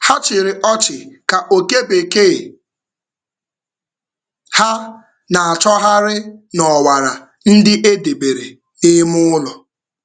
Ha chịrị ọchị ka oke bekee ha na-achọgharị n’ọwara ndị e debere n’ime ụlọ.